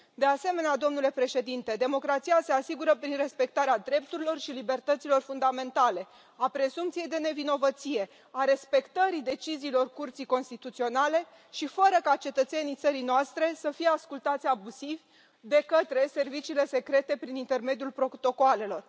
De asemenea, domnule Președinte, democrația se asigură prin respectarea drepturilor și libertăților fundamentale, a prezumției de nevinovăție, a respectării deciziilor Curții Constituționale și fără ca cetățenii țării noastre să fie ascultați abuziv de către serviciile secrete prin intermediul protocoalelor.